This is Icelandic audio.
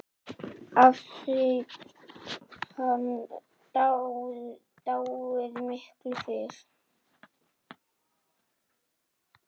Hafði hann dáið miklu fyrr?